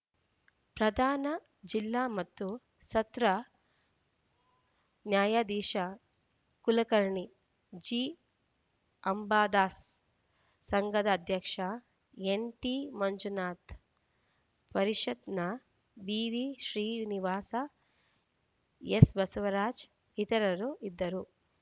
ಪ್ರಧಾನ ಜಿಲ್ಲಾ ಮತ್ತು ಸತ್ರ ನ್ಯಾಯಾಧೀಶ ಕುಲಕರ್ಣಿ ಜಿಅಂಬಾದಾಸ್‌ ಸಂಘದ ಅಧ್ಯಕ್ಷ ಎನ್‌ಟಿಮಂಜುನಾಥ ಪರಿಷತ್‌ನ ಬಿವಿಶ್ರೀನಿವಾಸ ಎಸ್‌ಬಸವರಾಜ ಇತರರು ಇದ್ದರು